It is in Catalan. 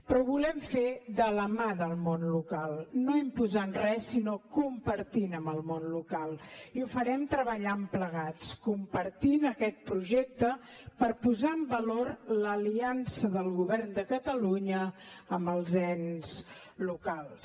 però ho volem fer de la mà del món local no imposant res sinó compartint amb el món local i ho farem treballant plegats compartint aquest projecte per posar en valor l’aliança del govern de catalunya amb els ens locals